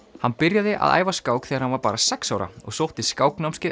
hann byrjaði að æfa skák þegar hann var bara sex ára og sótti